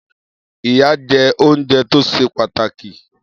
Iyán jẹ́ oúnjẹ tó ṣe pàtàkì